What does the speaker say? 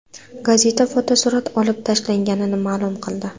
Gazeta fotosurat olib tashlanganini ma’lum qildi.